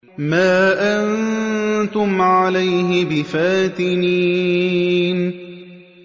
مَا أَنتُمْ عَلَيْهِ بِفَاتِنِينَ